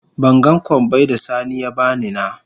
Ban gan kobbai da sani ya bani na.